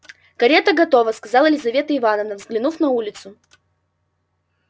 карета готова сказала лизавета ивановна взглянув на улицу